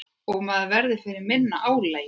Maður verður fyrir minna álagi.